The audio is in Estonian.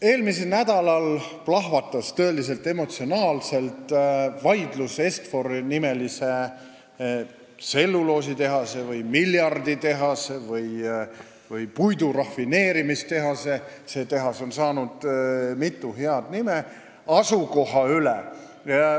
Eelmisel nädalal plahvatas tõeliselt emotsionaalne vaidlus Est-Fori-nimelise tselluloositehase või miljarditehase või puidurafineerimistehase – see tehas on saanud mitu head nime – asukoha üle.